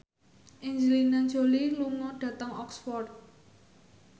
Angelina Jolie lunga dhateng Oxford